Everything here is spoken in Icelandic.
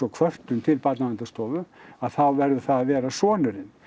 kvörtun til Barnaverndarstofu að þá verður það að vera sonurinn